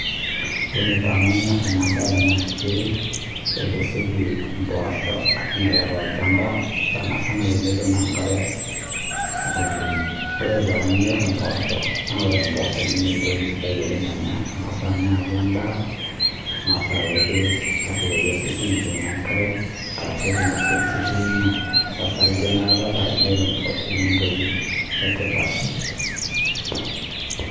Ore pee manyor ena mbae naa kesioki mboshok ainyiala too olchamba sanisana tenetum enkare oleng ore pee anymore mboshok naa ore mboshok naa entoki sidai oleng amu keng'as ninye akuu endaa nengas akuu keret ashukoki osesen lino enkare ashu etum osesen lino osarge neeku kadolita Ajo ore mboshok naa entoki etipat